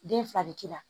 Den fila bɛ k'i la